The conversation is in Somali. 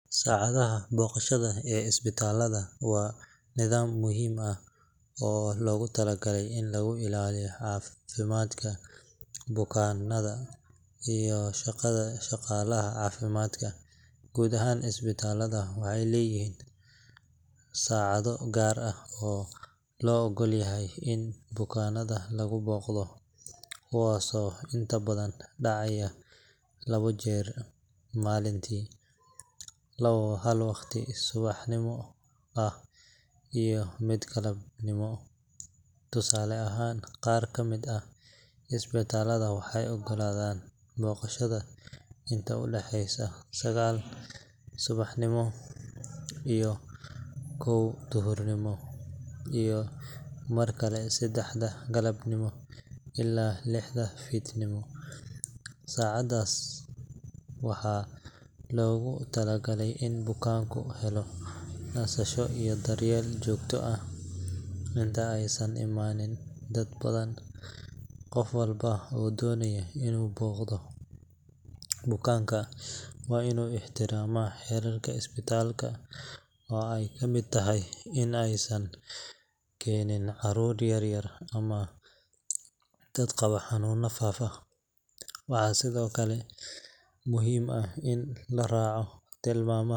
Saacadaha booqashada ee isbitaalada waa nidaam muhiim ah oo loogu talagalay in lagu ilaaliyo caafimaadka bukaanada iyo shaqada shaqaalaha caafimaadka. Guud ahaan, isbitaalada waxay leeyihiin saacado gaar ah oo loo oggol yahay in bukaannada lagu booqdo, kuwaasoo inta badan dhacaya labo jeer maalintii hal waqti subaxnimo ah iyo mid galabnimo. Tusaale ahaan, qaar ka mid ah isbitaalada waxay oggolaadaan booqashada inta u dhaxaysa sagaal subaxnimo ilaa kow duhurnimo, iyo markale saddexda galabnimo ilaa lixda fiidnimo. Saacadahaas waxaa loogu talagalay in bukaanku helo nasasho iyo daryeel joogto ah inta aysan imaanin dad badan. Qof walba oo doonaya inuu booqdo bukaan waa inuu ixtiraamaa xeerarka isbitaalka, oo ay ka mid tahay in aysan keenin caruur yar yar ama dad qaba xanuunno faafa. Waxaa sidoo kale muhiim ah in la raaco tilmaamaha.